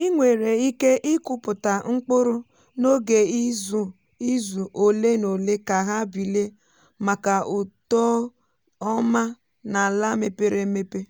i nwèrè iké ikụpụta mkpụrụ n’oge izu ole na ole ka ha bilie maka uto ọma n’ala mepere emepe.